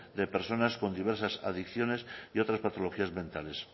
de personas con diversas adicciones y otras patologías mentales